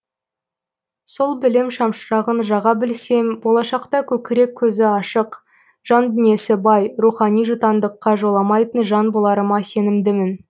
сол білім шамшырағын жаға білсем болашақта көкірек көзі ашық жан дүниесі бай рухани жұтаңдыққа жоламайтын жан боларыма сенімдімін